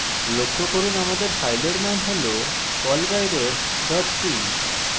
লক্ষ্য করুন আমাদের file name হল callbyref c